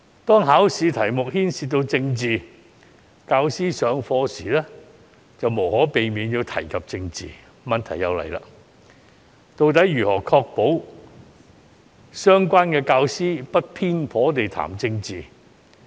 當考試題目牽涉政治，教師上課時便無可避免地要提及政治，於是問題便來了。